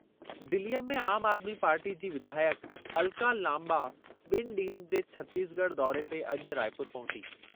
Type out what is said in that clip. दिलीअ में आम आदमी पार्टी जी विधायक अलका लांबा ॿिनि ॾींहनि जे छतीसगढ़ दौरे ते अॼु रायपुर पहुती।